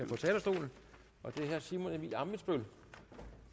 på talerstolen og det er herre simon emil ammitzbøll